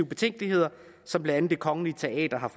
betænkeligheder som blandt andet det kongelige teater har